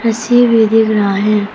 रस्सी भी दिख रहा है।